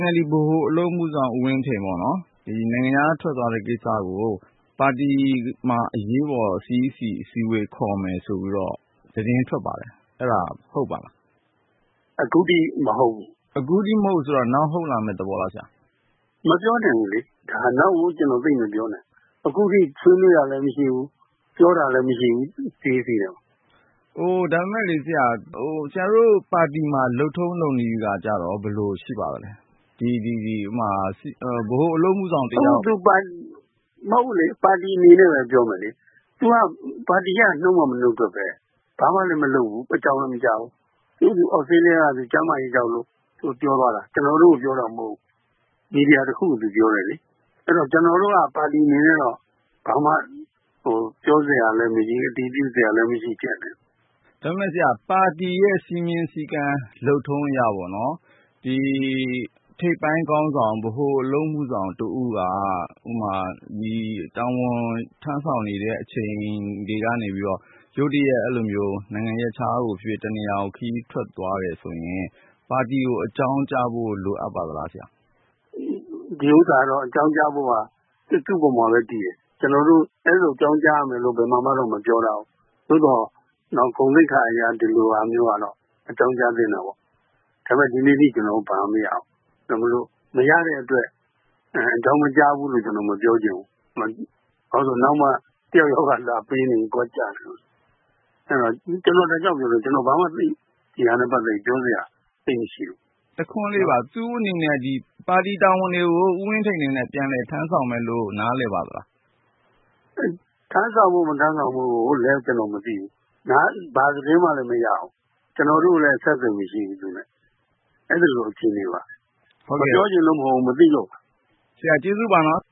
NLD ဗဟိုအလုပ်အမှုဆောင် ဦးဝင်းထိန် နိုင်ငံခြားထွက်သွားတဲ့ ကိစ္စကို ပါတီမှာ အရေးပေါ် CEC အစည်းအဝေး ခေါ်မယ်ဆိုပြီးတော့ သတင်းထွက်ပါတယ်၊ အဲဒါ ဟုတ်ပါသလား။ အခုအထိမဟုတ်ဘူး။ အခုအထိမဟုတ်ဘူး ဆိုတာက နောက် ဟုတ်လာမယ့်သဘောလားဆရာ။ မပြောနိုင်ဘူးလေ။ ဒါက နောက်ဆိုတော့ ကျနော်သိပ်မပြောနိုင်ဘူး ။ အခုအထိဆွေးနွေးတာလည်း မရှိဘူး ပြောတာလည်း မရှိဘူး CEC ထဲမှာလေ။ ဒါပေမယ့်လေ ဆရာတို့ပါတီမှာ လုပ်ထုံးလုပ်နည်းကရော ဘယ်လိုရှိပါသလဲ။ မဟုတ်ဘူးလေ ပါတီအနေနဲ့ပဲ ပြောမယ်လေ ။ သူက ပါတီက နုတ်မှ မနုတ်ထွက်ပဲ ၊ ဘာမှလည်းမလုပ်ဘူး အကြောင်းလည်းမကြားဘူး ။ သူ့ဟာသူ သြစတြေးလျကို ကျန်းမာရေးကြောင့်မို့လို့ပြောသွားတာ ကျနော်တို့ကို ပြောတာမဟုတ်ဘူး။ မီဒီယာတခုကို သူပြောတယ်လေ။ အဲဒီတော့ ကျနော်တို့ကတော့ ပါတီအနေနဲ့တော့ ဘာမှ ပြောစရာလည်း မရှိ ၊ အတည်ပြုစရာလည်းမရှိဖြစ်နေတယ်။ ဒါပေမယ့် ဆရာ ပါတီရဲ့ စည်းမျဥ်းစည်းကမ်း လုပ်ထုံးအရပေါ့နော်။ ဒီထိပ်ပိုင်းခေါင်းဆောင် ဗဟိုအလုပ်မှုဆောင်တဦးက တာဝန်ထမ်းဆောင်နေတဲ့ အချိန်တွေကနေပြီးတော့ ရုတ်တရပ်အဲလိုမျိုး နိုင်ငံရပ်ခြားကိုဖြစ်ဖြစ်၊ တနေရာကို ခရီးထွက်သွားတယ်ဆိုရင် ပါတီကို အကြောင်းကြားဖို့ လိုအပ်ပါသလားဆရာ။ ဒီဟာကတော့ အကြောင်းကြားဖို့က သူ့အပေါ်မှာပဲ တည်တယ်။ ကျနော်တို့ အဲလိုအကြောင်းကြားရမယ်လို့ တော့ ဘယ်မှာမှတော့ မပြောထားဘူး။ သို့သော် ဂုဏ်သိက္ခာအရတော့ ဒီလိုဟာမျိုးက အကြောင်းကြားသင့်တာပေါ့။ ဒါပေမယ့် ဒီကနေ့အထိ ကျနော်တို့ ဘာမှ မရဘူး။ မရတဲ့အတွက် အကြောင်းမကြားဘူးလို့ ကျနော်မပြောချင်ဘူး။ ဘာဖြစ်လို့လဲဆိုတော့ နောက်မှ တယောက်ယောက်က လာပေးနေရင် ဂွကျနေမယ်။ အဲဒါကြောင့် ကျနော်ပြောတယ် ဘာမှ ဒီဟာနဲ့ ပတ်သက်ပြီး ကျနော် ပြောစရာသိပ်မရှိဘူး။ တခွန်းလေးပါ သူ့အနေနဲ့ ပါတီတာဝန်တွေကို ဦးဝင်းထိန်အနေနဲ့ တာဝန်ထမ်းဆောင်မယ်လို့ နားလည်ပါသလား။ ထမ်းဆောင်ဖို့ မထမ်းဆောင်ဖို့ဆိုတာလည်း ကျနော်မသိဘူး။ ဘာသတင်းမှလည်း မရဘူး။ ကျနော်တို့ကိုလည်း အဆက်အသွယ် မရှိဘူး သူနဲ့ အဲဒီလိုအခြေအနေပါ။ မပြောချင်လို့မဟုတ်ဘူး မသိလို့ပါ။ ဟုတ်ကဲ့ ဆရာ ကျေးဇူးပါနော်